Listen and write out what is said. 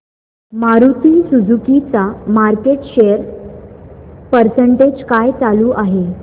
Maruti Suzuki चा market share percentage काय चालू आहे